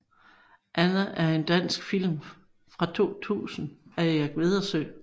Anna er en dansk film fra 2000 af Erik Wedersøe